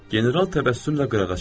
General təbəssümlə qırağa çəkildi.